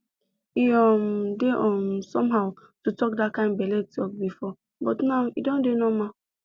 e um dey um somehow to talk that kind belle talk before but now e don dey normal